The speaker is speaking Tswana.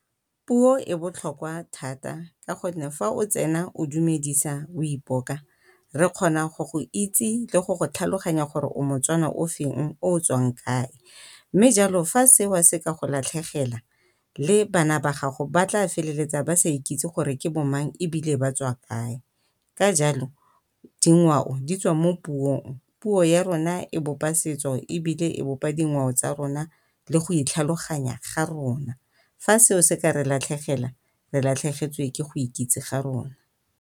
Puo e botlhokwa thata ka gonne fa o tsena o dumedisa o ipoka re kgona go go itse le go go tlhaloganya gore o moTswana o feng o o tswang kae mme jalo fa seo se ka go latlhegela le bana ba gago ba tla feleletsa ba sa ikitse gore ke bo mang ebile ba tswa kae. Ka jalo dingwao di tswa mo puong, puo ya rona e bopa setso ebile e bopa dingwao tsa rona le go itlhaloganya ga rona. Fa seo se ka re latlhegela, re latlhegetswe ke go ikitse ga rona.